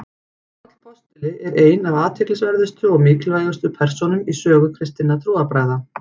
páll postuli er ein af athyglisverðustu og mikilvægustu persónum í sögu kristinna trúarbragða